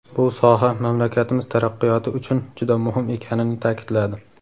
bu soha mamlakatimiz taraqqiyoti uchun juda muhim ekanini ta’kidladi.